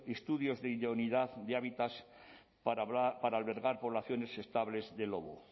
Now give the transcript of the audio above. estudios de idoneidad de hábitat para albergar poblaciones estables de lobo